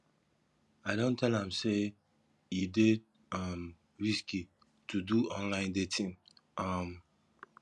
i don tell am sey e dey um risky to do online dating um